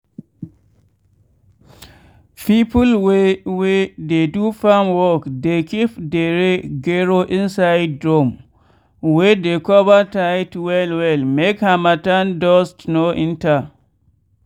people wey wey dey do farm work dey keep dere gero inside drum wey de cover tight well well make harmattan dust no enter.